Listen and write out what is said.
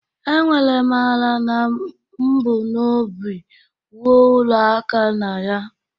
Enwere m ala na m bu n'obi wuo Ulo aka na ya.